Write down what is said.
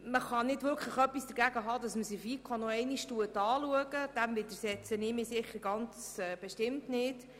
Man kann nicht wirklich etwas dagegen haben, dies noch einmal in der FiKo zu betrachtet.